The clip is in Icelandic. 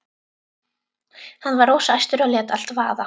Hann var rosa æstur og lét allt vaða.